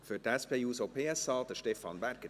Für die SP-JUSO-PSA, Stefan Berger.